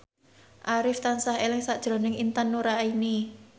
Arif tansah eling sakjroning Intan Nuraini